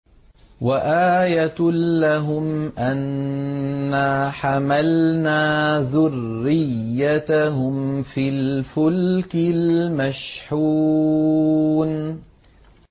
وَآيَةٌ لَّهُمْ أَنَّا حَمَلْنَا ذُرِّيَّتَهُمْ فِي الْفُلْكِ الْمَشْحُونِ